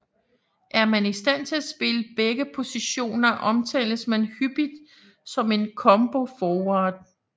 Er man i stand til at spille begge positioner omtales man hyppigt som en combo forward